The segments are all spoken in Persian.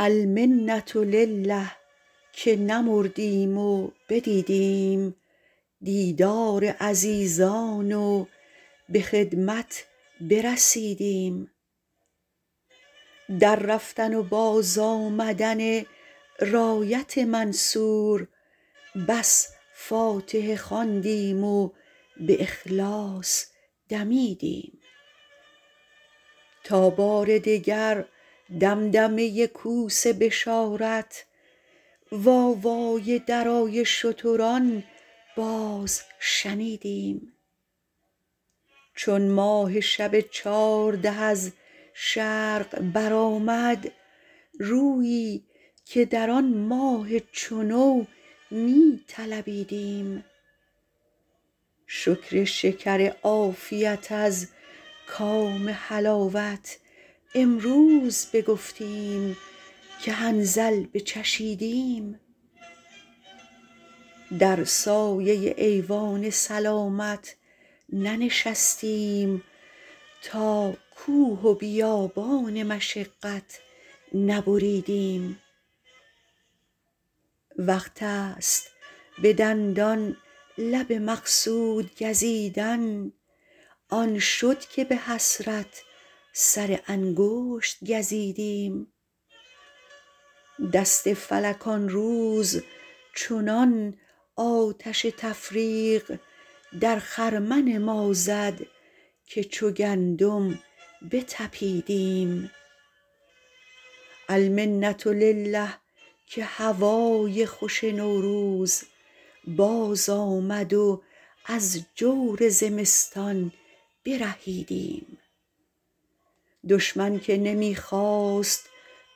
المنةلله که نمردیم و بدیدیم دیدار عزیزان و به خدمت برسیدیم در رفتن و بازآمدن رایت منصور بس فاتحه خواندیم و به اخلاص دمیدیم تا بار دگر دمدمه کوس بشارت وآوای درای شتران باز شنیدیم چون ماه شب چارده از شرق برآمد رویی که در آن ماه چو نو می طلبیدیم شکر شکر عافیت از کام حلاوت امروز بگفتیم که حنظل بچشیدیم در سایه ایوان سلامت ننشستیم تا کوه و بیابان مشقت نبریدیم وقتست به دندان لب مقصود گزیدن آن شد که به حسرت سرانگشت گزیدیم دست فلک آن روز چنان آتش تفریق در خرمن ما زد که چو گندم بتپیدیم المنةلله که هوای خوش نوروز باز آمد و از جور زمستان برهیدیم دشمن که نمی خواست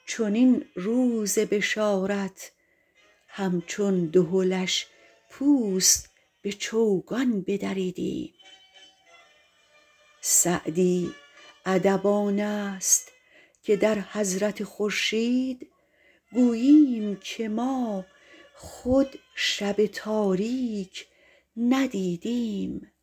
چنین روز بشارت همچون دهلش پوست به چوگان بدریدیم سعدی ادب آنست که در حضرت خورشید گوییم که ما خود شب تاریک ندیدیم